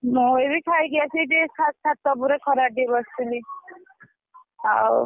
ମୁଁ ଏଇଟି ଖାଇକି ଆସି ଟିକେ ଛାତ ଉପରେ ଖରାରେ ଟିକେ ବସିଥିଲି ଆଉ ।